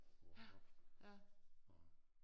Går man op og